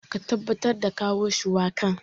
Ka tabbatar da kawo shuwakan.